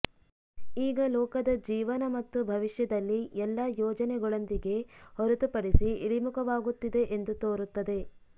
ಈಗ ಲೋಕದ ಜೀವನ ಮತ್ತು ಭವಿಷ್ಯದಲ್ಲಿ ಎಲ್ಲಾ ಯೋಜನೆಗಳೊಂದಿಗೆ ಹೊರತುಪಡಿಸಿ ಇಳಿಮುಖವಾಗುತ್ತಿದೆ ಎಂದು ತೋರುತ್ತದೆ